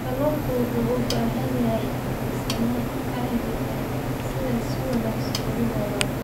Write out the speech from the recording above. Kalluunku wuxuu u baahan yahay miisaan caadi ah si uu si wanaagsan ugu noolaado.